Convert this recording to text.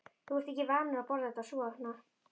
Þú ert ekki vanur að borða þetta svona